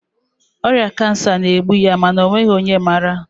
ọrịa kansa na-egbu ya mana ọ nweghị onye maara